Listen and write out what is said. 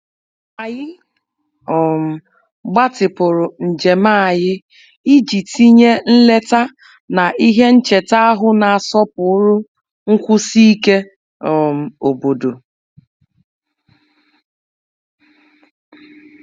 Anyị gbatịpụrụ ije anyị ka anyị were gụnye nleta ihe ncheta n'egosi nsọpụrụ ike obodo.